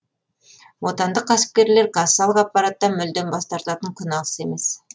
отандық кәсіпкерлер кассалық аппараттан мүлдем бас тартатын күн алыс емес